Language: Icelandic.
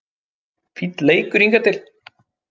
Fínn leikur hingað til